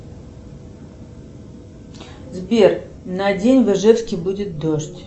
сбер на день в ижевске будет дождь